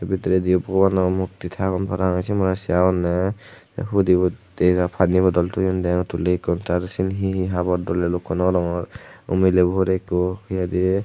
bidiredi bobano mukti agon ey sionore se agonne te hudibotte na pani bodol toyon deong tuli ekko tar sen hi hi habor dole lokko nw rongor o milebor ekko hi hoide.